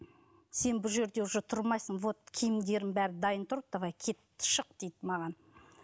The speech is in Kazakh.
сен бұл жерде уже тұрмайсың вот киімдеріңнің бәрі дайын тұр давай кет шық дейді маған